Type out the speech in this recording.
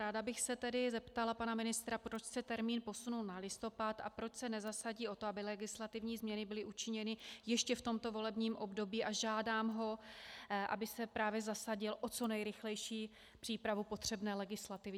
Ráda bych se tedy zeptala pana ministra, proč se termín posunul na listopad a proč se nezasadí o to, aby legislativní změny byly učiněny ještě v tomto volebním období, a žádám ho, aby se právě zasadil o co nejrychlejší přípravu potřebné legislativy.